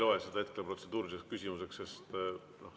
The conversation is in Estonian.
Ma ei loe seda hetkel protseduuriliseks küsimuseks.